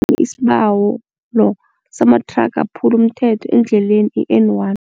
Isibawo samathraga aphula umthetho endleni i-N one.